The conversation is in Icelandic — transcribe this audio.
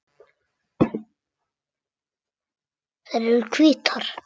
Þær eru hvítar.